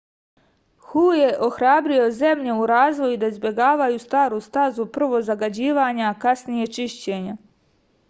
hu je ohrabrio zemlje u razvoju da izbegavaju staru stazu prvo zagađivanja a kasnije čišćenja